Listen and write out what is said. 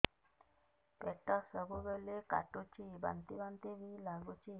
ପେଟ ସବୁବେଳେ କାଟୁଚି ବାନ୍ତି ବାନ୍ତି ବି ଲାଗୁଛି